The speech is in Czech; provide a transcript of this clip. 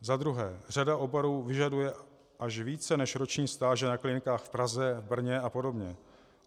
Za druhé, řada oborů vyžaduje až více než roční stáže na klinikách v Praze, Brně a podobně.